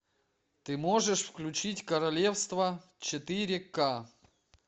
ты можешь включить королевство четыре ка